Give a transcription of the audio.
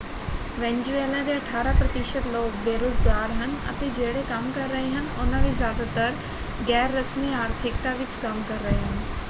Venezuela ਦੇ ਅਠਾਰਾਂ ਪ੍ਰਤੀਸ਼ਤ ਲੋਕ ਬੇਰੁਜ਼ਗਾਰ ਹਨ ਅਤੇ ਜਿਹੜੇ ਕੰਮ ਕਰ ਰਹੇ ਹਨ ਉਹਨਾਂ ਵਿੱਚ ਜਿਆਦਾਤਰ ਗੈਰਰਸਮੀ ਆਰਥਿਕਤਾ ਵਿੱਚ ਕੰਮ ਕਰ ਰਹੇ ਹਨ।